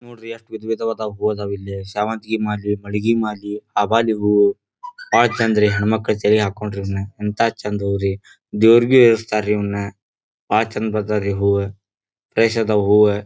ನೋಡ್ರಿ ಎಷ್ಟ್ ವಿಧ ವಿಧವಾದ ಹೂ ಅದಾವ್ ಇಲ್ಲಿ ಸ್ಯವಂತಿ ಮಾಲಿ ಮಲ್ಲಿಗೆ ಮಾಲಿ ಅಬಲಿ ಹೂ ಬಹಳ ಚೆಂದ ರೀ ಹೆಣ್ ಮಕ್ಕಳಿಗ್ ಜಡೆಗ್ ಹಾಕೊಂಡ್ರ ಇದನ್ನ ಎಂಥ ಚೆಂದ ಹೂ ರೀ ದೇವ್ರಿಗೂ ಏರಿಸ್ತಾರ್ ಇವನ್ನ ಬಹಳ ಚೆಂದ ಬರ್ತದ್ರಿ ಹೂ ಬಯಸದ ಹೂ--